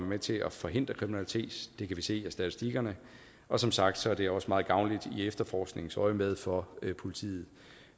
med til at forhindre kriminalitet det kan vi se af statistikkerne og som sagt er det også meget gavnligt i efterforskningsøjemed for politiet